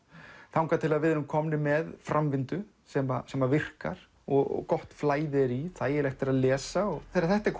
þangað til við erum komnir með framvindu sem sem að virkar og gott flæði er í þægilegt er að lesa þegar þetta er